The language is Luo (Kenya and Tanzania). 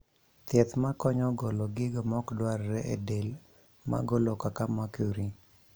Thiedh makonyo golo gigo mokdwarre e del magolo kaka makuri